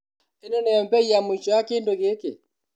ĩno niyo mbei ya mũico ya kĩndũ gĩkĩ?